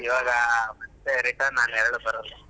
ಈವಾಗ ಮತ್ತೆ return ಆ ನೇರಳ್ ಬರೋಲ್ಲ.